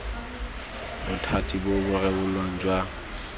bothati bo bo rebolang jwa